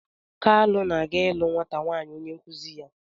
Kalu na-aga ịlụ nwata nwaanyị onye nkụzi ya.